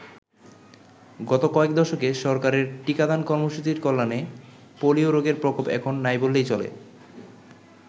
গত কয়েক দশকে, সরকারের টিকাদান কর্মসূচীর কল্যানে পোলিও রোগের প্রকোপ এখন নাই বললেই চলে।